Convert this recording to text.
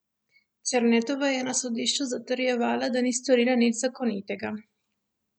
Černetova je na sodišču zatrjevala, da ni storila nič nezakonitega.